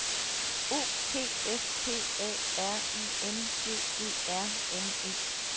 O P S P A R I N G E R N E